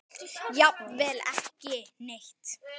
Jafnvel ekki neitt.